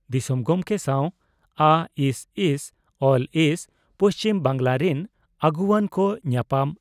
ᱫᱤᱥᱚᱢ ᱜᱚᱢᱠᱮ ᱥᱟᱣ ᱟᱹᱥᱹᱥᱹᱞᱹᱥᱹ, ᱯᱩᱪᱷᱤᱢ ᱵᱟᱝᱜᱽᱞᱟ ᱨᱤᱱ ᱟᱹᱜᱩᱣᱟᱹᱱ ᱠᱚ ᱧᱟᱯᱟᱢ